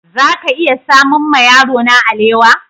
Za ka iya samun ma yarona alewa?